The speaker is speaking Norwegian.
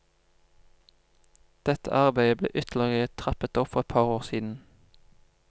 Dette arbeidet ble ytterligere trappet opp for et par år siden.